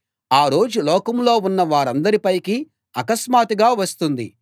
ఆ రోజు లోకంలో ఉన్న వారందరి పైకి అకస్మాత్తుగా వస్తుంది